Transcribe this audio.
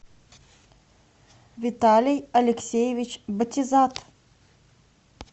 виталий алексеевич батизат